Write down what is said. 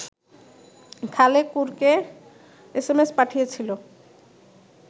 খালেকুরকে SMS পাঠিয়েছিল